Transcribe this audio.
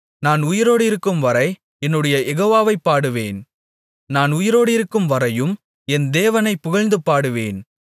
நான் உயிரோடிருக்கும்வரை என்னுடைய யெகோவாவைப் பாடுவேன் நான் உயிரோடிருக்கும்வரையும் என் தேவனைப் புகழ்ந்து பாடுவேன்